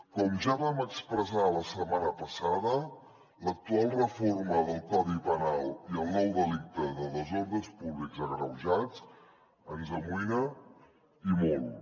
com ja vam expressar la setmana passada l’actual reforma del codi penal i el nou delicte de desordres públics agreujats ens amoïna i molt